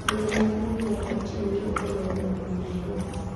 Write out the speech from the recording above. Goro maduong' mar Putin gi Opollo e boma ma Naiobi